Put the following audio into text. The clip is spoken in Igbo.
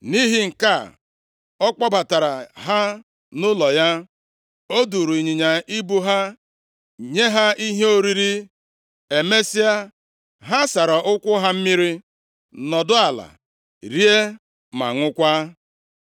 Nʼihi nke a, ọ kpọbatara ha nʼụlọ ya. O duuru ịnyịnya ibu ha, nye ha ihe oriri. Emesịa, ha sara ụkwụ + 19:21 Ịsacha ụkwụ bụ omenaala i ji gosi na-anabatara mmadụ mgbe ọ batara nʼụlọ. Mmemme a bụ ihe a na-eme ebe ndị mmadụ na-eji ụkwụ aga ogologo ụzọ, nʼala ebe uzuzu jupụtara. \+xt Jen 18:4; Jọn 13:5\+xt* ha mmiri, nọdụ ala rie ma ṅụọkwa.